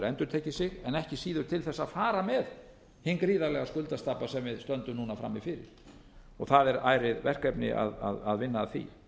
endurtekið sig en ekki síður til þess að fara með hinn gríðarlega skuldastabba sem við stöndum núna frammi fyrir það er ærið verkefni að vinna að því